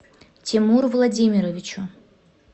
тимуру владимировичу